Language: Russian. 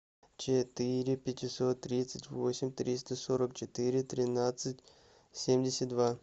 четыре пятьсот тридцать восемь триста сорок четыре тринадцать семьдесят два